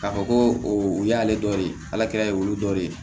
K'a fɔ ko o y'ale dɔ ye ala kɛlɛ ye olu dɔ de ye